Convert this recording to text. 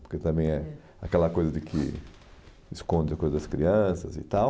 Porque também é aquela coisa de que esconde a coisa das crianças e tal.